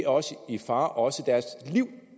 også i fare og deres liv